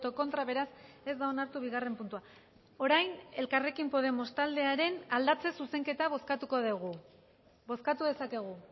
contra beraz ez da onartu bigarren puntua orain elkarrekin podemos taldearen aldatze zuzenketa bozkatuko dugu bozkatu dezakegu